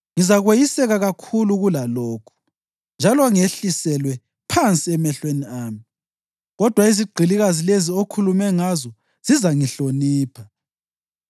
Ngizakweyiseka kakhulu kulalokhu, njalo ngehliselwe phansi emehlweni ami. Kodwa izigqilikazi lezi okhulume ngazo zizangihlonipha.”